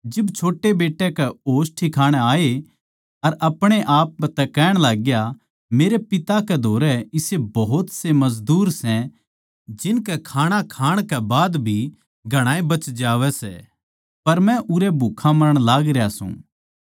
जिब छोट्टे बेट्टे के होश ठिकाणै आये अर अपणे आप तै कहण लाग्या मेरै पिता कै धोरै इसे भोत मजदूर सै जिनकै खाणा खाण कै बाद भी घणाए बच जावै सै पर मै उरै भुक्खा मरण लाग रह्या सूं